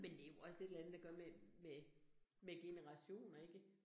Men det jo også et eller andet at gøre med med med generationer ikke